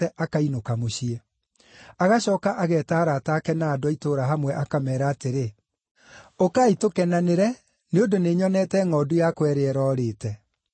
akainũka mũciĩ. Agacooka ageeta arata ake na andũ a itũũra hamwe, akameera atĩrĩ, ‘Ũkai tũkenanĩre nĩ ũndũ nĩnyonete ngʼondu yakwa ĩrĩa ĩrorĩte.’